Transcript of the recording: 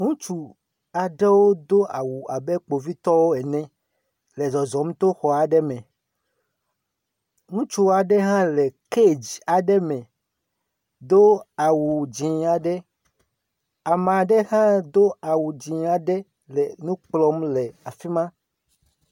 Ŋutsu aɖewo do awu abe kpovitɔwo ene le zɔzɔm to xɔ aɖe me. Ŋutsu aɖe hã le kedzi aɖe me, do awu dzɛ̃aɖe, ama ɖe hã do awu dzɛ̃ aɖe le nu kplɔm le afi ma.